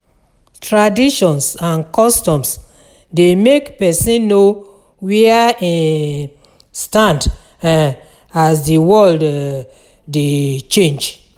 Traditions and customs de make persin know where im stand um as di world um de change